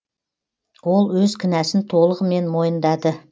ол өз кінәсін толығымен мойындады